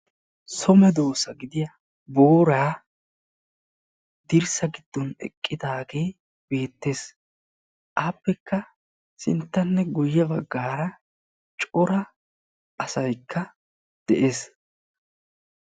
So medosa gidiya booray dirssa giddon eqqidage beetes. A matankka cora asay eqqidaage beetees.